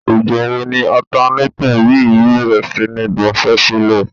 Ìgbà wo ni ọ̀tanátọ̀ yìí bèrè sí ní daṣẹ́sílẹ̀?